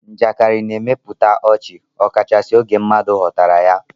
Njakịrị na-emepụta ọchị ọkachasị oge mmadụ ghọtara ya.